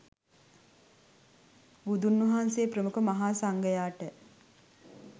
බුදුන් වහන්සේ ප්‍රමුඛ මහා සංඝයාට